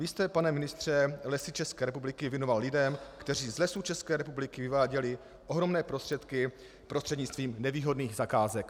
Vy jste, pane ministře, Lesy České republiky věnoval lidem, kteří z Lesů České republiky vyváděli ohromné prostředky prostřednictvím nevýhodných zakázek.